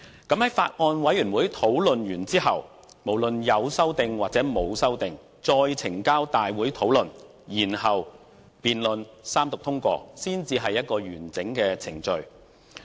在法案委員會內完成討論後，無論有沒有修訂，再呈交大會討論，然後辯論和三讀通過，這才是完整的程序。